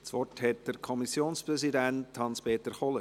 Das Wort hat der Kommissionspräsident Hans-Peter Kohler.